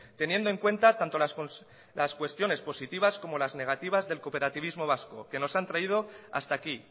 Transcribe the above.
teniendo en cuenta tanto las cuestiones positivas como las negativas del cooperativismo vasco que nos han traído hasta aquí